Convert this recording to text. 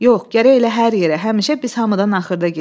Yox, gərək elə hər yerə həmişə biz hamıdan axırda gedək.